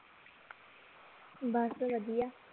ਬਸ ਵਧੀਆ